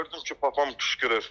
Gördüm ki, papam qışqırır.